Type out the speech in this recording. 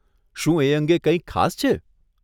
શું એ અંગે કંઈક ખાસ છે?